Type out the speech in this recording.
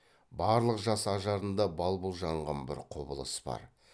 барлық жас ажарында бал бұл жанған бір құбылыс бар